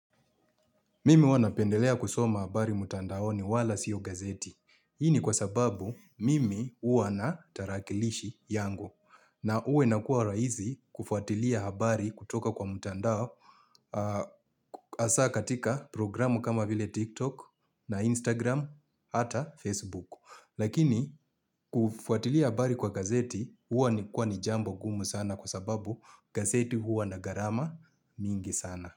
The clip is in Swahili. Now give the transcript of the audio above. Mimi huwa napendelea kusoma habari mutandao ni wala siyo gazeti. Hii ni kwa sababu mimi huwa na tarakilishi yangu. Na uwe na kuwa raizi kufuatilia habari kutoka kwa mtandao asa katika programu kama vile TikTok na Instagram ata Facebook. Lakini kufuatilia habari kwa gazeti huwa ni kwa ni jambo gumu sana kwa sababu gazeti huwa nagarama mingi sana.